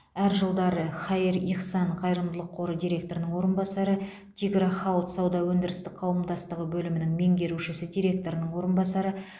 әр жылдары хаир ихсан қайырымдылық қоры директорының орынбасары тигро хауд сауда өндірістік қауымдастығы бөлімінің меңгерушісі директорының орынбасары